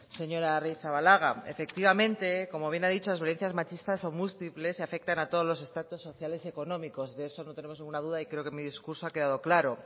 señora arrizabalaga efectivamente como bien ha dicho las violencias machistas son múltiples y afectan a todos los estatus sociales y económicos de eso no tenemos ninguna duda y creo que en mí discurso ha quedado claro